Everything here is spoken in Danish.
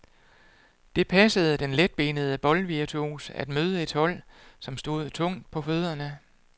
Det passede den letbenede boldvirtuos at møde et hold, som stod tungt på fødderne.